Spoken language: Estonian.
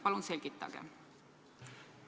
Palun selgitage!